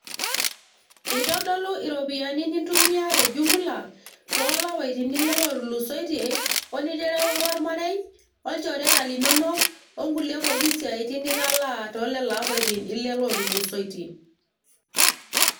Eitodolu iropiyiani nintumia te jumla toolapaitin ile otulusoitie oniterewaka ormarei ,olchoreta linonok , onkulie siatin pookin nitalaa too lelo apaitin ile otulusoitie.